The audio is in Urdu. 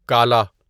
کالا